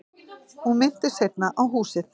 Hún minntist seinna á húsið.